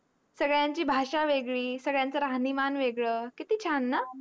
संगड्यांची भाषा वेगडी संगड्यांच राहणी मन वेगड किती छान ना